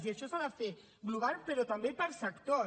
i això s’ha de fer global però també per sectors